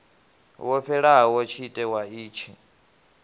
wo fhelaho tshite wa itshi